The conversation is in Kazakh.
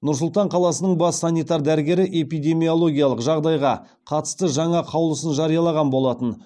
нұр сұлтан қаласының бас санитар дәрігері эпидемиологиялық жағдайға қатысты жаңа қаулысын жариялаған болатын